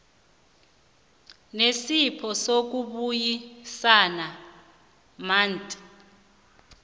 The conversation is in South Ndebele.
nesipho sokubuyisana mut